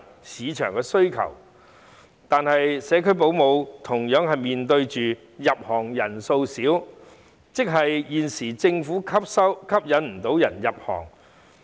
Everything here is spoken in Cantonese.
市場有需求，但社區保姆同樣面對入行人數少的問題，即現時政府未能吸引人入行。